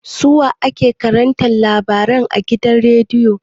Su wa ke karanta labarai a gidan rediyo?